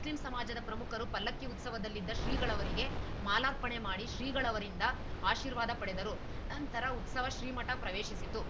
Muslim ಸಮಾಜದ ಪ್ರಮುಖರು ಪಲ್ಲಕ್ಕಿ ಉತ್ಸವದಲ್ಲಿದ್ದ ಶ್ರೀಗಳವರಿಗೆ ಮಾಲಾರ್ಪಣೆಮಾಡಿ ಶ್ರೀಗಳವರಿಂದ ಆಶೀರ್ವಾದ ಪಡೆದರು ನಂತರ ಉತ್ಸವ ಶ್ರೀಮಠ ಪ್ರವೇಶಿಸಿತು